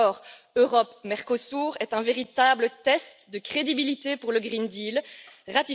L'accord Europe Mercosur est un véritable test de crédibilité pour le pacte vert.